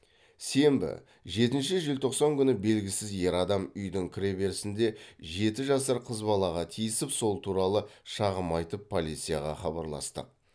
сенбі жетінші желтоқсан күні белгісіз ер адам үйдің кіреберісінде жеті жасар қыз балаға тиісіп сол туралы шағым айтып полицияға хабарластық